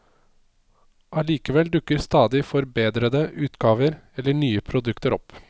Allikevel dukker stadig forbedrede utgaver eller nye produkter opp.